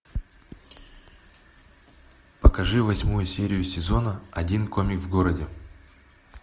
покажи восьмую серию сезона один комик в городе